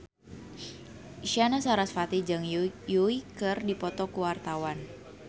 Isyana Sarasvati jeung Yui keur dipoto ku wartawan